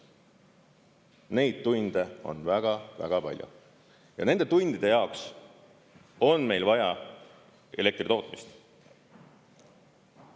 Neid tunde on väga-väga palju ja nende tundide jaoks on meil vaja elektri tootmist.